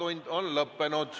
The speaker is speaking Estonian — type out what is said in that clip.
Infotund on lõppenud.